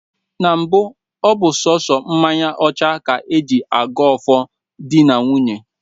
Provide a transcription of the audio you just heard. Na mbụ ọ bụ sọọsọ mmanya ọcha ka e ji ago ọfọ di na nwunye